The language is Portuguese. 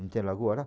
Não tem lagoa lá?